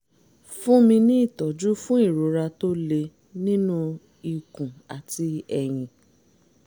fún mi ní ìtọ́jú fún ìrora tó le nínú ikùn àti ẹ̀yìn